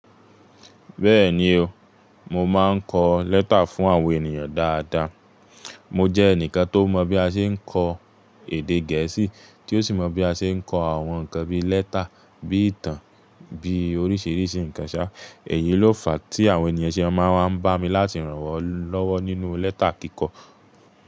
Bẹ́ẹ̀ni o, mo máa ń kọ lẹ́tà fún àwọn ènìyàn dáadáa. Mo jẹ́ ẹnìkan tó mọ bí a ṣe ń kọ èdè gẹ̀ẹ́sì tí ó sì mọ bí a ṣe ń kọ àwọn ǹnkan bí i lẹ́tà, bí i ìtàn, bí i oríṣiríṣi ǹnkan ṣá. Èyí ló fa tí àwọn ènìyàn ṣe máa wań bá mi láti ràn wọ́n lọ́wọ́ nínú lẹ́tà kíkọ.